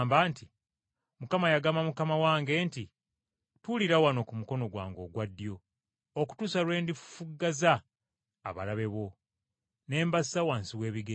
“ ‘Mukama yagamba Mukama wange nti: “Tuulira wano ku mukono gwange ogwa ddyo, okutuusa lwe ndifufuggaza abalabe bo ne mbassa wansi w’ebigere byo?” ’